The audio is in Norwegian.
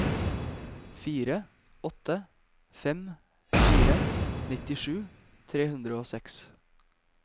fire åtte fem fire nittisju tre hundre og seks